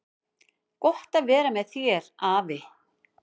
Gott var að vera með þér, afi.